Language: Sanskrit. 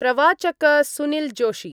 प्रवाचक सुनीलजोशी